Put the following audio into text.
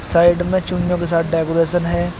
Side में चूने के साथ डेकोरेशन है।